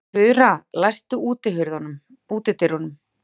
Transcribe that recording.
Fura, læstu útidyrunum.